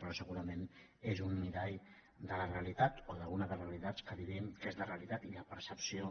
però segurament és un mirall de la realitat o d’una de les realitats que vivim que és la realitat i la percepció